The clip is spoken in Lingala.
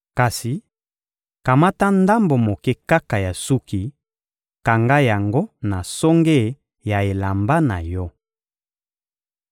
Kasi kamata ndambo moke kaka ya suki, kanga yango na songe ya elamba na yo.